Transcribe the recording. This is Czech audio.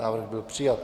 Návrh byl přijat.